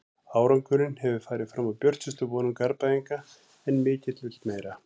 Árangurinn hefur farið fram úr björtustu vonum Garðbæinga en mikill vill meira.